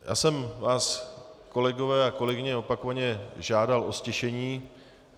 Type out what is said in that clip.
Já jsem vás, kolegové a kolegyně, opakovaně žádal o ztišení.